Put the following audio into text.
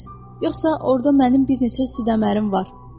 Yoxsa orda mənim bir neçə süddəmərim var.